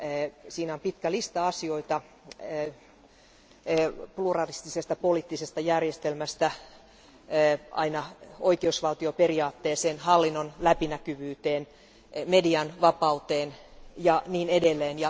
Määritelmässä on pitkä lista asioita pluralistisesta poliittisesta järjestelmästä aina oikeusvaltioperiaatteeseen, hallinnon läpinäkyvyyteen, median vapauteen ja niin edelleen.